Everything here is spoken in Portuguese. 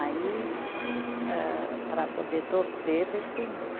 Aí, âh para poder torcer, para estender.